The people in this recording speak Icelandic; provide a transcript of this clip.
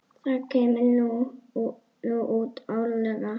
Það kemur nú út árlega.